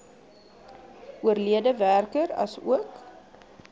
oorlede werker asook